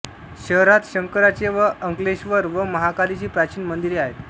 शहरात शंकराचे अंकलेश्वर व महाकालीची प्राचीन मंदीरे आहेत